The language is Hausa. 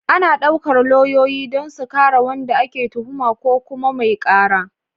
Ana ɗaukar lauyoyi don su kare wanda ake tuhuma ko kuma mai ƙara.